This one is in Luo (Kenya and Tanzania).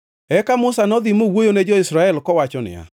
Eka Musa nodhi mowuoyo ne jo-Israel kowacho niya,